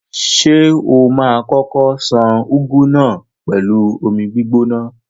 Ṣé o ma kókó ṣan úgú náà pẹ̀lú omi gbígbóná?